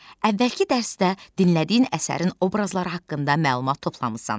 Əvvəlki dərsdə dinlədiyin əsərin obrazları haqqında məlumat toplamısan.